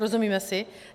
Rozumíme si?